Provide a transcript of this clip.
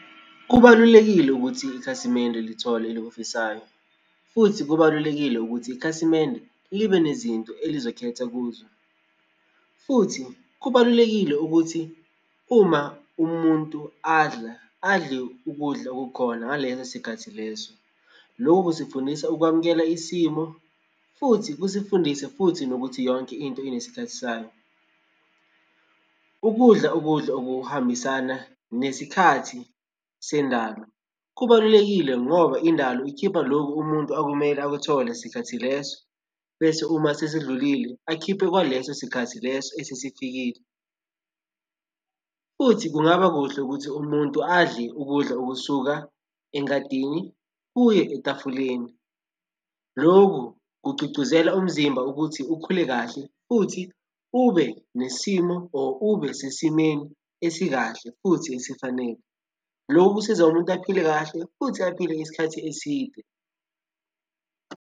Kubalulekile ukuthi ikhasimende lithole elikufisayo, futhi kubalulekile ukuthi ikhasimende libe nezinto elizokhetha kuzo, futhi kubalulekile ukuthi uma umuntu adla adle ukudla okukhona ngaleso sikhathi leso. Lokhu kusifundisa ukwamukela isimo, futhi kusifundise futhi nokuthi yonke into inesikhathi sayo. Ukudla ukudla okuhambisana nesikhathi sendalo kubalulekile ngoba indalo ikhipha lokhu umuntu okumele akuthole sikhathi leso, bese uma sesidlulile akhiphe kwaleso sikhathi leso esesifikile, futhi kungaba kuhle ukuthi umuntu adle ukudla okusuka engadini kuye etafuleni. Loku kugcugcuzela umzimba ukuthi ukhule kahle futhi ube nesimo or ube sesimeni esikahle, futhi esifanele. Loku ksiza umuntu aphile kahle futhi aphile isikhathi eside.